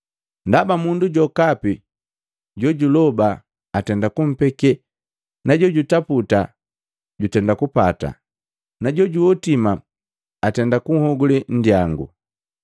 Ndaba, mundu jokapi jojuloba atenda kumpeke na jojutaputa jutenda kupata na jojuhotima atenda kunhogule nndyangu.